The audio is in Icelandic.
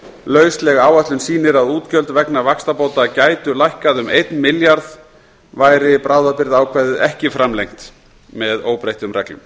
fjórtán lausleg áætlun sýnir að útgjöld vegna vaxtabóta gætu lækkað um eitt milljarð væri bráðabirgðaákvæðið ekki framlengt með óbreyttum reglum